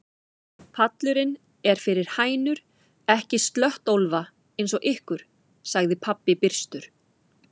Pallurinn er fyrir hænur, ekki slöttólfa eins og ykkur, sagði pabbi byrstur.